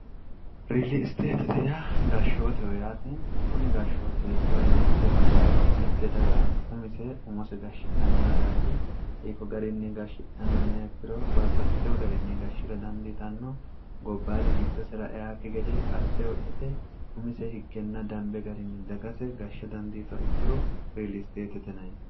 riili isteetitea gashshooteho yaate kuni gashshooti hittoo yina ekkiro mitte daga umise umose gashshidhanno dagaati iikko garinni gashshidhanno inaekkiro baabbaxxiteho gariinni gashshira dandiitanno gobbaadi giddosira eakki gede qasse hocyite umise higgenna dambe garinni dagase gashshe dandiito ikkiro riiliisteetetinai